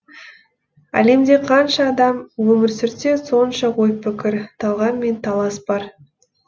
әлемде қанша адам өмір сүрсе сонша ой пікір талғам мен талас бар